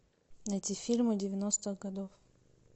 найти фильмы девяностых годов